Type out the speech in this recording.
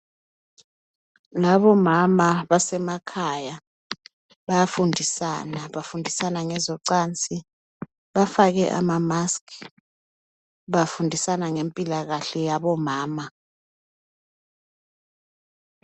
Ngabomama, basemakhaya. Bayafundisana. Bafundisana ngezocansi. Bafake ama-mask. Bafundisana ngempilakahle yabomama.